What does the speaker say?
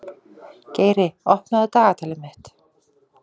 Geiri, opnaðu dagatalið mitt.